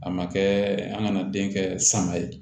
A ma kɛɛ an ŋana den kɛ sanga ye